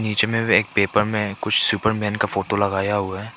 बीच में एक पेपर में कुछ सुपरमैन का फोटो लगाया हुआ है।